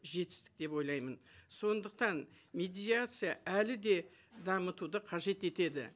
жетістік деп ойлаймын сондықтан медиация әлі де дамытуды қажет етеді